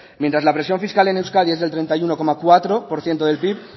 mientras la presión fiscal en euskadi es el treinta y uno coma cuatro por ciento del pib